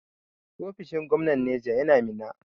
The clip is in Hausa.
Ofishin gwamnan Naija yana Minna.